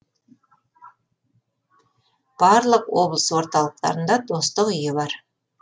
барлық облыс орталықтарында достық үйі бар